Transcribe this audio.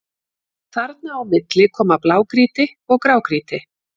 Þarna á milli koma blágrýti og grágrýti.